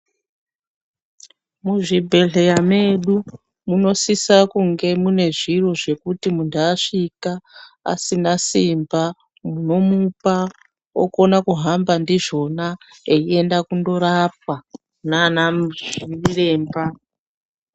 Muzvibhedhleya medu munosisa kunge mune zviro zvekuti muntu asvika asima simba munomupa okona kuhamba ndizvona, eienda kundorapwa nana chiremba.